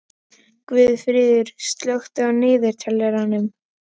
Guðfríður, slökktu á niðurteljaranum.